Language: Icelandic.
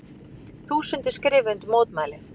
Þúsundir skrifa undir mótmæli